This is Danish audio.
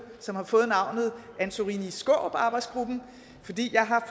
som har fået navnet antorini skaarup arbejdsgruppen fordi jeg har